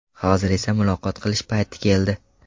Hozir esa muloqot qilish payti keldi.